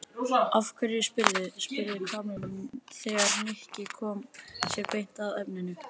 Af hverju spyrðu? spurði Kamilla þegar Nikki kom sér beint að efninu.